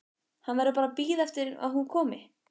Hann verður bara að bíða eftir að hún komi.